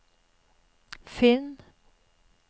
finn